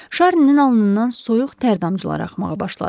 Şarninin alnından soyuq tər damcıları axmağa başladı.